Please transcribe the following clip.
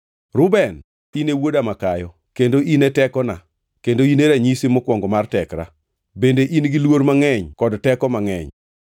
“Reuben, in e wuoda makayo, kendo in e tekona kendo in e ranyisi mokwongo mar tekra, bende in giluor mangʼeny kod teko mangʼeny.